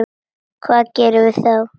Hvað gerum við þá?